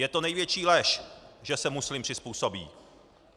Je to největší lež, že se muslim přizpůsobí.